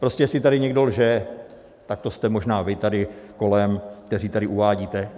Prostě jestli tady někdo lže, tak to jste možná vy tady kolem, kteří tady uvádíte...